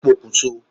Ó pokùn so